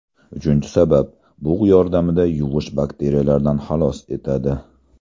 Uchinchi sabab: bug‘ yordamida yuvish Bakteriyalardan xalos etadi.